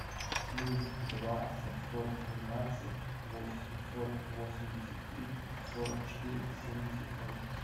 плюс два семьсот двенадцать восемьсот восемьдесят три сорок четыре семьдесят ноль